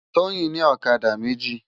Toyin ni òkadá méji